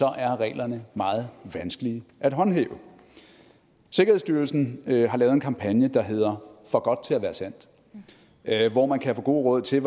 er reglerne meget vanskelige at håndhæve sikkerhedsstyrelsen har lavet en kampagne der hedder for godt til at være sandt hvor man kan få gode råd til